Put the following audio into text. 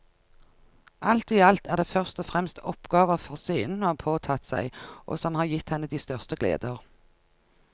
Alt i alt er det først og fremst oppgaver for scenen hun har påtatt seg og som har gitt henne de største gleder.